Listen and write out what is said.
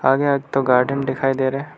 और यहां एक ठो गार्डन दिखाई दे रहे हैं।